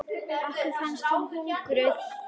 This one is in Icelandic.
Okkur fannst hún huguð.